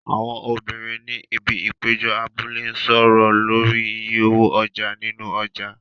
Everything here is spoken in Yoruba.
Àwọn obìnrin ni ibi ìpéjọ abúlé ń sọ̀rọ̀ lórí iye owó ọjà nínú ọjà.